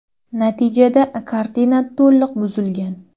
Natijada kartina to‘liq buzilgan.